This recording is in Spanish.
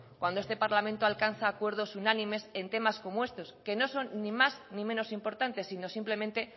cuando este parlamento alcanza acuerdos unánimes en tema como este que no son ni más ni menos importantes sino simplemente